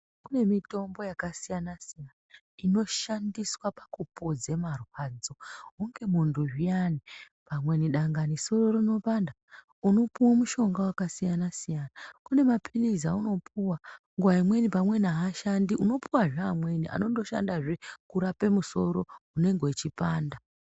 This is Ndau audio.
Kune mitombo yakasiyana-siyana inoshandiswa pakupodze marwadzo. Hunge muntu zviyani, pamweni dangani soro rinopanda, unopuwo mushonga wakasiyana-siyana. Kune maphilizi aunopuwa, nenguwa imweni pamweni haashandi, unopuwazve amweni anondoshandazve kurape musoro unenge uchipanda.